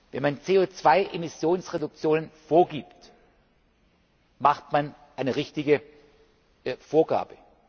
Wenn man CO 2 Emissionsreduktionen vorgibt, macht man eine richtige Vorgabe.